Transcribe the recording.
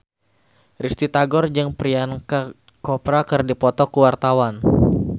Risty Tagor jeung Priyanka Chopra keur dipoto ku wartawan